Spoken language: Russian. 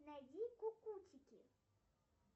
найди кукутики